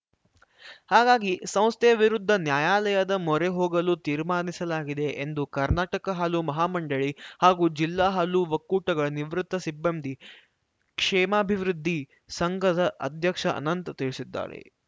ಹಾಗಾಗಿ ಸಂಸ್ಥೆಯ ವಿರುದ್ಧ ನ್ಯಾಯಾಲಯದ ಮೊರೆ ಹೋಗಲು ತೀರ್ಮಾನಿಸಲಾಗಿದೆ ಎಂದು ಕರ್ನಾಟಕ ಹಾಲು ಮಹಾಮಂಡಳಿ ಮತ್ತು ಜಿಲ್ಲಾ ಹಾಲು ಒಕ್ಕೂಟಗಳ ನಿವೃತ್ತ ಸಿಬ್ಬಂದಿ ಕ್ಷೇಮಾಭಿವೃದ್ಧಿ ಸಂಘದ ಅಧ್ಯಕ್ಷ ಅನಂತ್‌ ತಿಳಿಸಿದ್ದಾರೆ